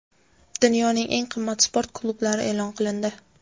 Dunyoning eng qimmat sport klublari e’lon qilindi.